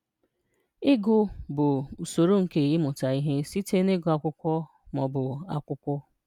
Ị́gụ̀ bụ̀ ụ̀sọ̀rò nké ị́mụ̀tà ihè sị̀tè n’ị́gụ̀ ákwụ̀kwọ̀ ma ọ̀bụ̀ ákwụ̀kwọ̀